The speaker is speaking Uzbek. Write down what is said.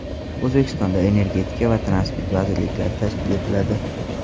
O‘zbekistonda energetika va transport vazirliklari tashkil etiladi.